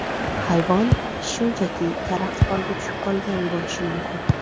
Hayvon shunchaki karaxt holatga tushib qolgan bo‘lishi mumkin.